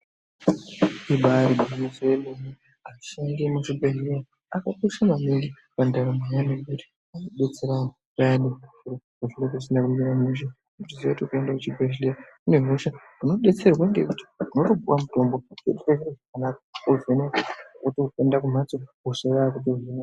Ibaari gwinyiso yemene ngekuti ashandi emuzvibhehleya akakosha maningi mundaramo yedu nekuti anodetsera vantu payani zviro pazvinenge zvisina kumira mushe. Uchiziya kuti ukaenda kuchibhehleya une hosha unodetserwa ngekuti unotopuwa mutombo wovhenekwa wotoende kumhatso, hosha yaakutohinwa.